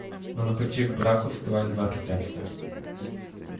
но на пути к браку вставали два препятствия